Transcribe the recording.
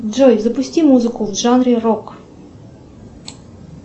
джой запусти музыку в жанре рок